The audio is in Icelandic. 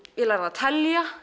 ég lærði að telja